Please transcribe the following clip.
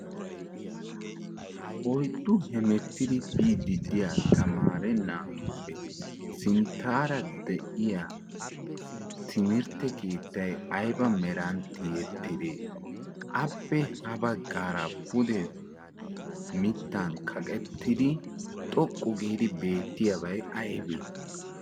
Oyiddu hemettidi biiddi diya tamaare naatuppe sinttaara diya timirtte keettay ayiba meran tiyettidee? Appe ha baggaara pude mittan kaqettidi xoqqu giidi beettiyabay ayibee?